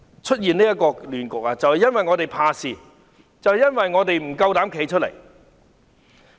出現現在的亂局，就是因為我們怕事，因為我們不敢站出來。